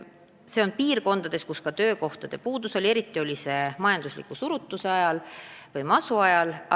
Osas piirkondades on olnud töökohtade puudus, eriti majandusliku surutise ehk masu ajal.